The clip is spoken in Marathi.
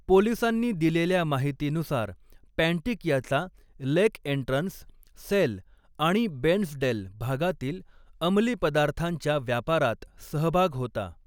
पोलिसांनी दिलेल्या माहितीनुसार, पँटिक याचा लेक एन्ट्रन्स, सेल आणि बेर्न्सडेल भागातील अंमली पदार्थांच्या व्यापारात सहभाग होता.